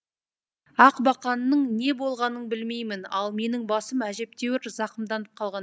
ақ бақанның не болғанын білмеймін ал менің басым әжептәуір зақымданып қалған